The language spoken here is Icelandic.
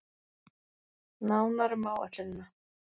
Nánar um áætlunina